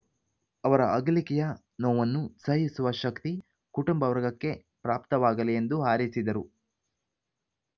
ಅವರ ಅಗಲಿಕೆಯ ನೋವನ್ನು ಸಹಿಸುವ ಶಕ್ತಿ ಕುಟುಂಬ ವರ್ಗಕ್ಕೆ ಪ್ರಾಪ್ತವಾಗಲಿ ಎಂದು ಹಾರೈಸಿದರು